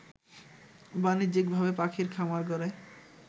বাণিজ্যিকভাবে পাখির খামার গড়ে